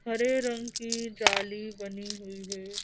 हरे रंग की जाली बनी हुई है।